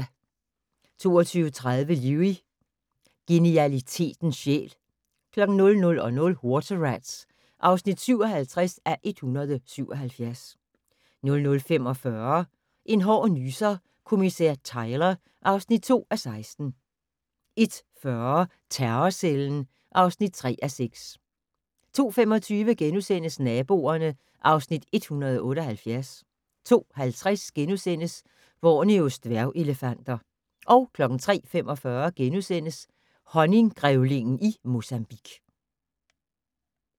22:30: Lewis: Genialitetens sjæl 00:00: Water Rats (57:177) 00:45: En hård nyser: Kommissær Tyler (2:16) 01:40: Terrorcellen (3:6) 02:25: Naboerne (Afs. 178)* 02:50: Borneos dværgelefanter * 03:45: Honninggrævlingen i Mozambique *